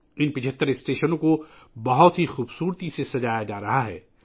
ان 75 اسٹیشنوں کو بہت خوبصورتی سے سجایا جا رہا ہے